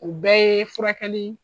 O bɛɛ ye furakɛli